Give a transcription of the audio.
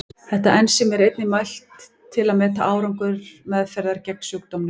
Þetta ensím er einnig mælt til að meta árangur meðferðar gegn sjúkdómnum.